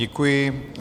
Děkuji.